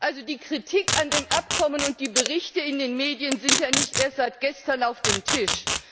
Also die Kritik an dem Abkommen und die Berichte in den Medien sind ja nicht erst seit gestern auf dem Tisch!